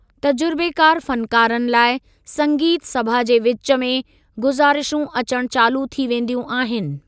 तजुर्बेकार फनकारनि लाइ, संगीत सभा जे विच में, गुज़ारिशूं अचण चालू थी वेंदियूं आहिनि।